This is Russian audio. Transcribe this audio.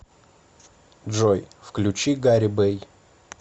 джой включи гарибэй